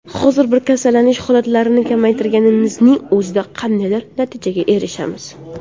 Hozir biz kasallanish holatlarini kamaytirganimizning o‘zida qandaydir natijaga erishamiz.